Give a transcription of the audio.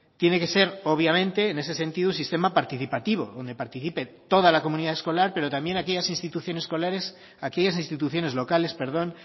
tiene que ser obviamente en ese sentido un sistema participativo donde participe toda la comunidad escolar pero también aquellas instituciones locales